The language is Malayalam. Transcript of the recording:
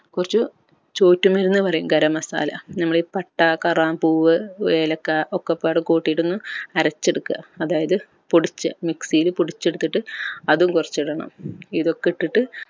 കൊർച്ച് എന്ന് പറയും garam masala നമ്മൾ ഈ പട്ട കറാമ്പൂവ് ഏലക്ക ഒക്കപാട് കൂട്ടിട്ടൊന്ന് അരച്ച് എടുക്ക അതായത് പൊടിച്ച് mixy യിൽ പൊടിച്ചെടുത്തിട്ട് അതും കൊർച്ച് ഇടണം ഇതൊക്കെ ഇട്ടിട്ട്